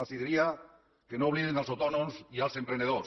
els diria que no oblidin els autònoms i els emprenedors